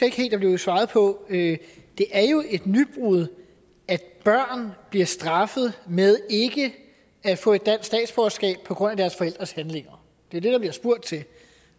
ikke helt der blev svaret på det er jo et nybrud at børn bliver straffet med ikke at få et dansk statsborgerskab på grund af deres forældres handlinger det er det der bliver spurgt til